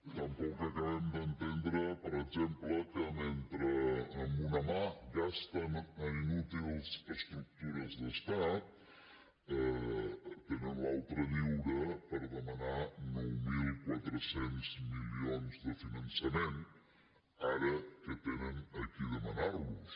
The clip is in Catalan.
tampoc acabem d’entendre per exemple que mentre amb una mà gasten en inútils estructures d’estat tenen l’altra lliure per demanar nou mil quatre cents milions de finança·ment ara que tenen a qui demanar·los